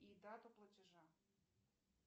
и дату платежа